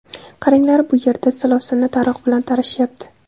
Qaranglar, bu yerda silovsinni taroq bilan tarashyapti.